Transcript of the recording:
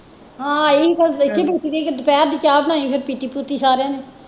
ਹਾਂ ਆਈ ਸੀ ਪਰ ਦੇਖੀ ਦੂਖੀ ਨਹੀਂ ਦੁਪਹਿਰ ਦੀ ਚਾਹ ਬਣਾਈ ਫੇਰ ਪੀਤੀ ਪੂਤੀ ਸਾਰਿਆਂ ਨੈ